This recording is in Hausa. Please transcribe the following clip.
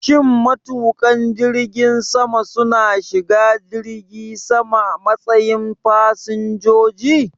Shin matuƙan jirgin sama su na shiga jirgi sama a matsayin fasinjoji?